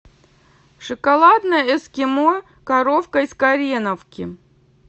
шоколадное эскимо коровка из кореновки